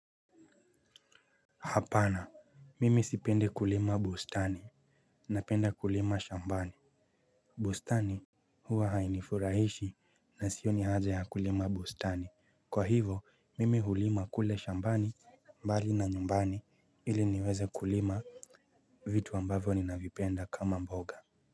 Hapana! Mimi sipendi kulima bustani, napenda kulima shambani. Bustani huwa hainifurahishi na sioni haja ya kulima bustani. Kwa hivyo, mimi hulima kule shambani mbali na nyumbani ili niweze kulima vitu ambavyo ni navipenda kama mboga.